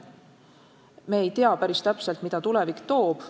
Me ei tea päris täpselt, mida tulevik toob.